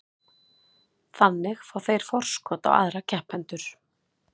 Þannig fá þeir forskot á aðra keppendur.